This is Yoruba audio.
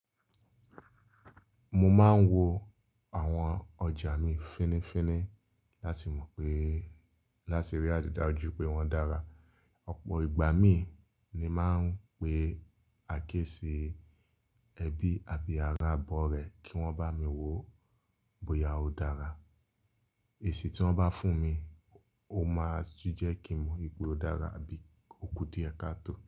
Mo máa ń wo àwọn ọjà mi fínnífínní láti mọ̀ pé, láti rí àrídájú pé wọ́n dára. Ọ̀pọ̀ ìgbà mi ni máa ń pe akẹ́ṣí, ẹbí àbí ará ọ̀bọ rẹ kí wọ́n bá mi wo bóyá ó dára. Èsì tí wọ́n bá fún mi, ó máa tu jẹ́ kí mo wipe ó dára àbí ó kú díẹ̀ kató.